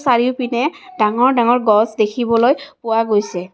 চাৰিওপিনে ডাঙৰ ডাঙৰ গছ দেখিবলৈ পোৱা গৈছে।